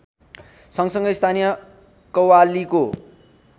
सँगसँगै स्थानीय कव्वालीको